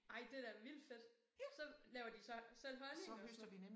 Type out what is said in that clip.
Ej det da vildt fedt. Så laver de så selv honning og sådan noget